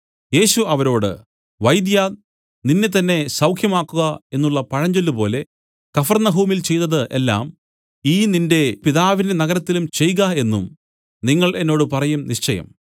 യേശു അവരോട് വൈദ്യാ നിന്നെത്തന്നെ സൌഖ്യമാക്കുക എന്നുള്ള പഴഞ്ചൊല്ല് പോലെ കഫർന്നഹൂമിൽ ചെയ്തത് എല്ലാം ഈ നിന്റെ പിതാവിന്റെ നഗരത്തിലും ചെയ്ക എന്നും നിങ്ങൾ എന്നോട് പറയും നിശ്ചയം